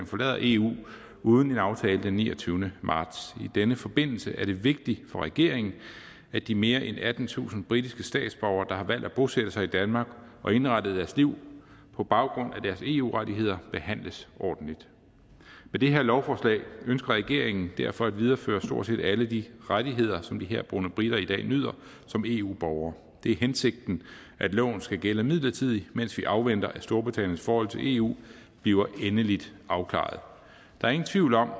forlader eu uden en aftale den niogtyvende marts i denne forbindelse er det vigtigt for regeringen at de mere end attentusind britiske statsborgere der har valgt at bosætte sig i danmark og indrettet deres liv på baggrund af deres eu rettigheder behandles ordentligt med det her lovforslag ønsker regeringen derfor at videreføre stort set alle de rettigheder som de herboende briter i dag nyder som eu borgere det er hensigten at loven skal gælde midlertidigt mens vi afventer at storbritanniens forhold til eu bliver endelig afklaret der er ingen tvivl om at